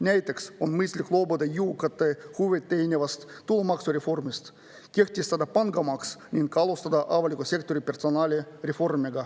Näiteks on mõistlik loobuda jõukate huve teenivast tulumaksureformist, kehtestada pangamaks ning alustada avalikus sektoris personalireformi.